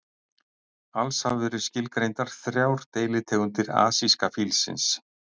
Alls hafa verið skilgreindar þrjár deilitegundir asíska fílsins.